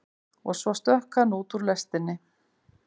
Og svo stökk hann út úr lestinni.